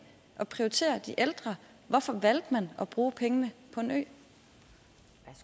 at prioritere de ældre hvorfor valgte man at bruge pengene